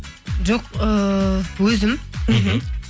жоқ ііі өзім мхм